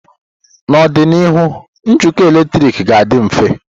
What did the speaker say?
N'ọdịnihu, njikọ eletrik ga-adị mfe.